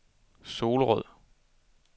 Solrød